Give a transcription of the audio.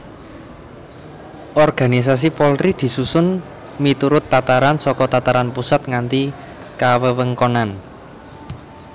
Organisasi Polri disusun miturut tataran saka tataran pusat nganti kawewengkonan